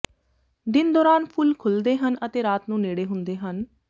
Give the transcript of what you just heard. ਦਿਨ ਦੌਰਾਨ ਫੁੱਲ ਖੁੱਲ੍ਹਦੇ ਹਨ ਅਤੇ ਰਾਤ ਨੂੰ ਨੇੜੇ ਹੁੰਦੇ ਹਨ